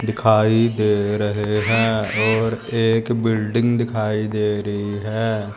दिखाई दे रहे हैं और एक बिल्डिंग दिखाई दे रही है।